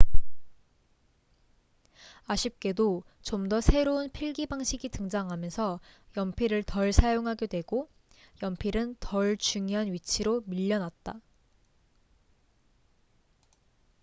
아쉽게도 좀 더 새로운 필기 방식이 등장하면서 연필을 덜 사용하게 되고 연필은 덜 중요한 위치로 밀려났다